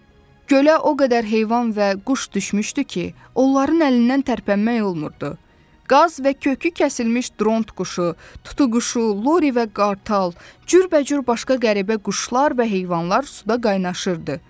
Gölə o qədər heyvan və quş düşmüşdü ki, onların əlindən tərpənmək olmurdu: qaz və kökü kəsilmiş dront quşu, tutuquşu, Lori və qartal, cürbəcür başqa qəribə quşlar və heyvanlar suda qaynaşırdı.